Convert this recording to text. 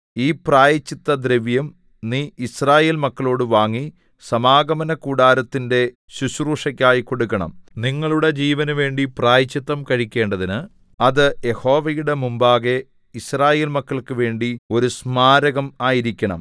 ഈ പ്രായശ്ചിത്തദ്രവ്യം നീ യിസ്രായേൽ മക്കളോട് വാങ്ങി സമാഗമനകൂടാരത്തിന്റെ ശുശ്രൂഷയ്ക്കായി കൊടുക്കണം നിങ്ങളുടെ ജീവനുവേണ്ടി പ്രായശ്ചിത്തം കഴിക്കേണ്ടതിന് അത് യഹോവയുടെ മുമ്പാകെ യിസ്രായേൽ മക്കൾക്ക് വേണ്ടി ഒരു സ്മാരകം ആയിരിക്കണം